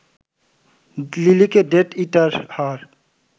লিলিকে death eater হওয়ার